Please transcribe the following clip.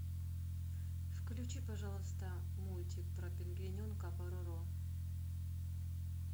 включи пожалуйста мультик про пингвиненка пороро